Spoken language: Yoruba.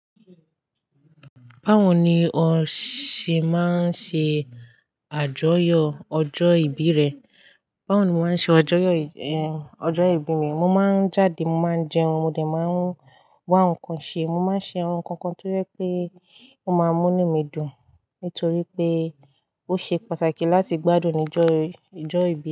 Báwo ni o ṣe máa ń ṣe a àjọyọ̀ ọjọ́ ìbí rẹ? Báwo ni mo máa ń ṣe àjọyọ̀, eh, ọjọ́ ìbí mi? Mo máa ń jáde, mo máa ń jẹun, mo dẹ̀ máa ń wá nǹkan ṣe. Mo máa ń ṣe awon nkankan tó jẹ pé ó máa mú ní mí dùn. Nítorí pé ó ṣe pàtàkì láti gbádùn nijọ́ yen, ijọ́ ìbí.